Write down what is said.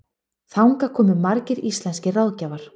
Þangað komu margir íslenskir ráðgjafar.